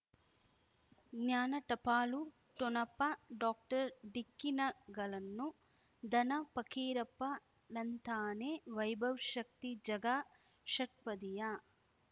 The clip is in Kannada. ಜ್ಞಾನ ಟಪಾಲು ಠೊಣಪ ಡಾಕ್ಟರ್ ಢಿಕ್ಕಿ ಣಗಳನು ಧನ ಫಕೀರಪ್ಪ ಳಂತಾನೆ ವೈಭವ್ ಶಕ್ತಿ ಝಗಾ ಷಟ್ಪದಿಯ